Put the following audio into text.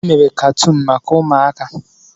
Emere katuun maka ụmụaka.